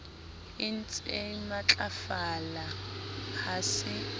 e ntsee matlafala ha se